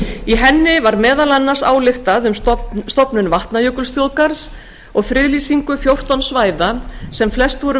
í henni var meðal annars ályktað um stofnun vatnajökulsþjóðgarðs og friðlýsingu fjórtán svæða sem flest voru